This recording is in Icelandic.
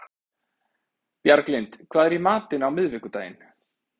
Bjarglind, hvað er í matinn á miðvikudaginn?